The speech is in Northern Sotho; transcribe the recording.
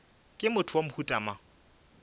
ke motho wa mohuta mang